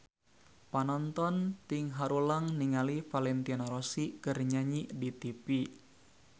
Panonton ting haruleng ningali Valentino Rossi keur nyanyi di tipi